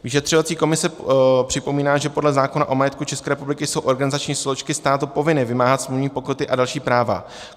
Vyšetřovací komise připomíná, že podle zákona o majetku České republiky jsou organizační složky státu povinny vymáhat smluvní pokuty a další práva.